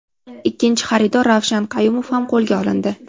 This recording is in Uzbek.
Ikkinchi xaridor Ravshan Qayumov ham qo‘lga olindi.